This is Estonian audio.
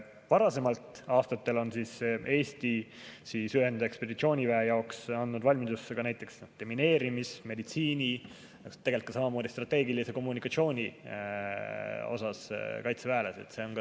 Varasematel aastatel on Eesti ühendekspeditsiooniväe jaoks andnud valmidusse ka näiteks demineerimis‑, meditsiini‑, samamoodi strateegilise kommunikatsiooni ala kaitseväelasi.